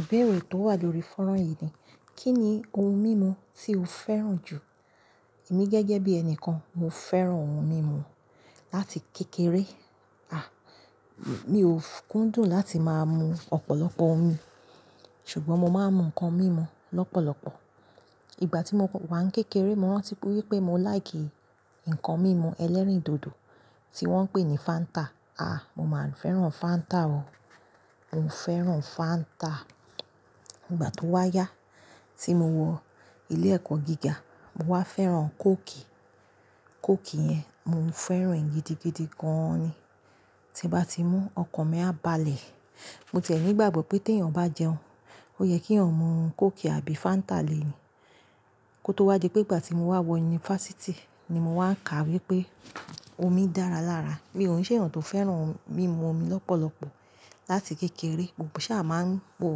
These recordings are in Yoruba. Ìbéèrè tó wà lórí fọ́nrán yìí ni: Kí ni ohun mímu tí o fẹ́ràn jù? Èmi gẹ́gẹ́ bí ẹni kan, mo fẹ́ràn ohun mímu láti kékeré. À, mi ò kúndùn láti máa mu ọ̀pọ̀lọpọ̀ omi, ṣùgbọ́n mo máa ń mu nǹkan mímu lọ́pọ̀lọpọ̀. Ìgbà tí mo wà ní kékeré, mo rántí pé mo láì kì nǹkan mímu ẹlẹ́rìndòdò tí wọ́n ń pè ní Fáńtà. À, mo máa ń fẹ́ràn Fáńtà o. Mo fẹ́ràn Fáńtà. Ìgbà tó wá yá, tí mo wọ ilé ẹ̀kọ́ gíga, mo wá fẹ́ràn kóòkì. Kóòkì yẹn, mo fẹ́ràn ìyẹn gidigidi gan-an ni. Tí mo bá ti mú, ọkàn mi á balẹ̀. Mo ti ẹ nígbàgbọ́ pé tí èèyàn bá jẹun, ó yẹ kí òun mú kóòkì àbí Fáńtà lèéni. Kótó wá di pé ìgbà tí mo wá wọ yunifásítì ni mo wá kà wípé omi dára lára. Mi ò ń se ẹ̀yàn tó fẹ́ràn mímu omi lọ́pọ̀lọpọ̀ láti kékeré, mo kàn ṣà máa ń po.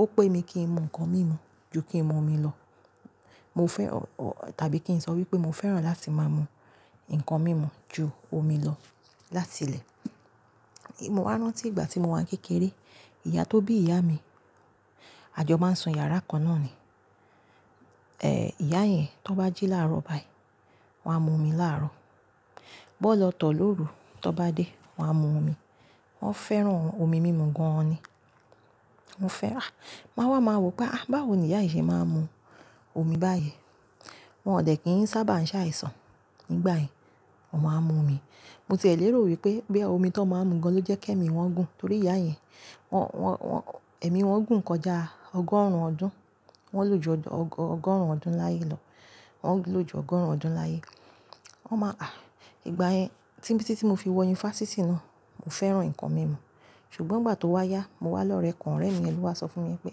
Ó pé mi kí n mu nǹkan mímu ju kí n mu omi lọ. Mo fẹ́-- tàbí kí n sọ wípé mo fẹ́ràn láti máa mú nǹkan mímu ju omi lọ látilẹ̀. Mo wá rántí ìgbà tí mo wà ní kékeré, ìyá tó bí ìyá mi, àjọ máa ń sún yàrá kan náà ni. Ẹ̀, ìyá yẹn tó bá jí láàárọ̀ báyìí, wọ́n á mu omi láàárọ̀. Bọ́ lọ tọ̀ lóru, tó bá dé, wọ́n á mu omi. Wọ́n fẹ́ràn omi mímu gan-an ni. Mo fẹ́-- à, màá wá, màá wò pé à, báwo ni ìyá yìí ṣe máa ń mu omi báyìí. Wọn ò dẹ̀ kí n sábà ń ṣe àìsàn nígbà yẹn, wọn máa ń mu omi. Mo ti è lérò wípé bóyá omi tó ń máa ń mu gan, lọ jẹ́ kí èmi wọn gùn torí ìyá yẹn, wọ́n, wọ́n, wọ́n, ẹ̀mí wọn gùn kọjá ọgọ́rùn-ún ọdún. Wọ́n lòjù ọgọ́, ọgọ́rùn-ún ọdún láyé lọ. Wọ́n lòjù ọgọ́rùn-ún ọdún láyé. Wọ́n máa-- à, ìgbà yẹn, tí, tí, tí mo fi wọ yunifásítì náà, mo fẹ́ràn nǹkan mímu. Ṣùgbọ́n ìgbà tó wá yá, mo wá lọ̀rẹ ọ̀rẹ́ mi yen ló wá sọ fún mi wípé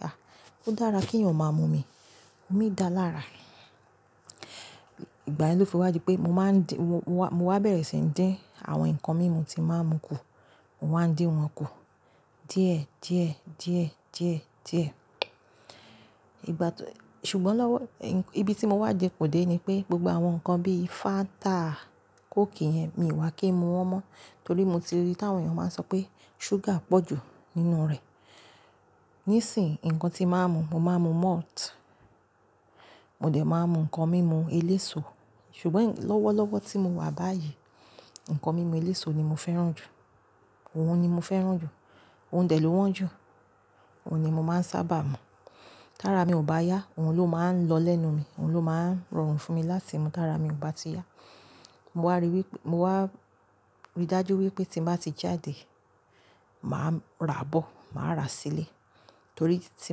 à, ó dára kí èèyàn máa mu omi, omi dára lára. Ìgbà yẹn ló fi wá di pé mo máa ń d-- mo wá, mo wá bẹ̀rẹ̀ síi dín àwọn nǹkan mímu tí mo máa ń mu kù. Mo wa ń dín wọn kù díẹ̀, díẹ̀, díẹ̀, díẹ̀, díẹ̀. Ìgbà tó-- ṣùgbọ́n lọ́wọ́-- ibi tí mo wá dẹ kù dé ni pé gbogbo àwọn nǹkan bíi Fáńtà, kóòkì yẹn, mi ò wà kí n mu wọn mọ́ torí mo ti rí tí àwọn èèyàn máa ń sọ pé ṣúgà pọ̀jù nínú rẹ̀. Nísìnyìí, nǹkan tí mo máa ń mu, mo máa ń mu malt. Mo dẹ̀ máa ń mu nǹkan mímu eléso. Ṣùgbọ́n lọ́wọ́lọ́wọ́ tí mo wà báyìí, nǹkan mímu eléso ni mo fẹ́ràn jù. Òun ni mo fẹ́ràn jù. Òun dẹ̀ ló wọ́n jù. Òun ni mo máa ń sábà mu. Tára mi ò bá yá, òun ló máa ń lọ lẹ́nu mi, òun ló máa ń rọrùn fún mi láti mú tí ara mi ò bá ti yá. Mo wá ríi wípé-- mo wá rí dájú wípé tí mo bá ti jáde, màá ra bọ́, màá ra sílé torí tí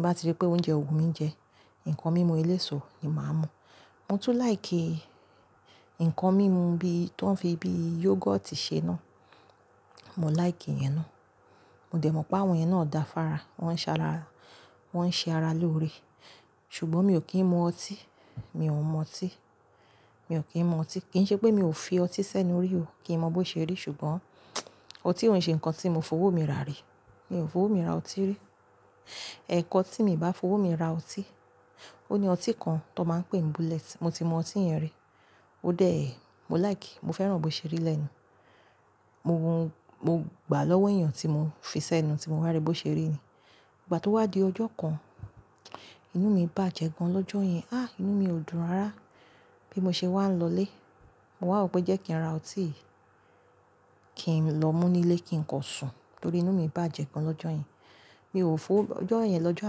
mo bá ríi pé oúnjẹ ò wù mí jẹ, nǹkan mímu eléso ni màá mu. Mo tún láì kí nǹkan mímu bí, tó ń fi bí yógọ́ọ̀tì ṣe náà. Mo láì kí iyen náà. Mo dẹ̀ mọ̀ pé àwọn eyán náà ò dáa fára. Wọ́n ń ṣaara-- wọ́n ń ṣe ara lóore. Ṣùgbọ́n mi ò kí ń mu ọtí. Mi ò mu ọtí. Mi ò kí ń mu ọtí. Kì í ṣe pé mi ò fi ọtí sẹ́nu rí o, kí n mọ bó ṣe rí. Ṣùgbọ́n ọtí ò ní ṣe nǹkan tí mo fowó mi rà rí. Mi ò fowó mi ra ọtí rí. Ẹ̀kan tí mi bá fowó mi ra ọtí, ó ní ọtí kan tó máa ń pè ní bullet. Mo ti mu ọtí yẹn rí. Ó dẹ́ẹ̀, mo láì kí i, mo fẹ́ràn bó ṣe rí lẹ́nu. Mo hun-- mo gbà lọ́wọ́ èèyàn tí mo fi sẹ́nu tí mo wá rí bó ṣe rí ni. Ìgbà tó wá di ọjọ́ kan, inú mi bàjẹ́ gan lọ́jọ́ yẹn. Á, inú mi ò dùn rárá. Bí mo ṣe wá ń lọlé, mo wà ó pé jẹ́ kí n ra ọtí yìí kí n lọ mú nílé kí n kọ sùn torí inú mi bàjẹ́ gan lọ́jọ̀ yẹn. Mi ò fowó-- ọjọ́ yẹn lọ́jọ́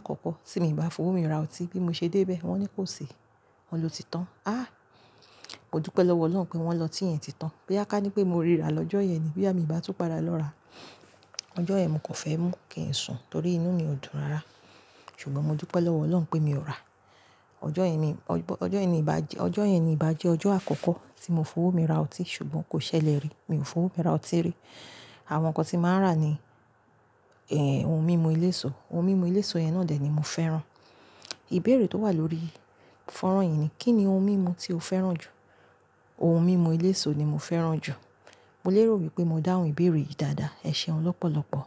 àkọ́kọ́ tí mo ìbá fowó mi ra ọtí. Bí mo ṣe débé, wọ́n ní kó sè, wọn lọ ti tán. Á, mo dúpẹ́ lọ́wọ́ Ọlọ́run pé wọ́n lọ ti yẹn ti tán. Bí àká ní pé mo ríra lọ́jọ́ yẹn ni. Bí àmi bá tún padà lọ ra. Ọjọ́ yẹn mo kò fẹ́ mú kín sùn torí inú mi ò dùn rárá. Ṣùgbọ́n mo dúpẹ́ lọ́wọ́ Ọlọ́run pé mi ò rà á. Ọjọ́ yẹn ni, ọjọ́ yẹn ni ìbá jẹ́, ọjọ́ yẹn ni ìbá jẹ́ ọjọ́ àkọ́kọ́ tí mo fowó mi ra ọtí. Ṣùgbọ́n kò ṣẹlẹ̀ rí. Mi ò fowó mi ra ọtí rí. Àwọn nǹkan tí màá rà ni, ẹ́, ohun mímu eléso. Ohun mímu eléso yẹn náà dẹ̀ ni mo fẹ́ràn. Ìbéèrè tó wà lórí fọ́nrán yìí ni: Kí ni ohun mímu tí o fẹ́ràn jù? Ohun mímu eléso ni mo fẹ́ràn jù. Mo lè rò wípé mo dáhùn ìbéèrè yìí dáadáa. Ẹ ṣeun lọ́pọ̀lọpọ̀.